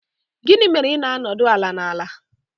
Gịnị mere ị na-anọdụ ala n'ala?